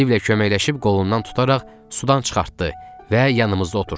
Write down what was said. Stivlə köməkləşib qolundan tutaraq sudan çıxartdı və yanımızda oturtddu.